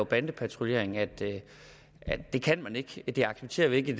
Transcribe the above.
bandepatruljering at det kan man ikke at det accepterer vi ikke i